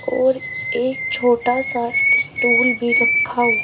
और एक छोटा सा स्टूल रखा हु--